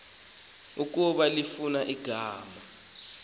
ukuba lifuna ukuhlangana